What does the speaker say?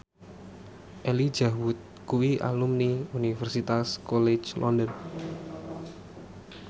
Elijah Wood kuwi alumni Universitas College London